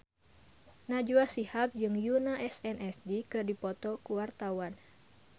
Najwa Shihab jeung Yoona SNSD keur dipoto ku wartawan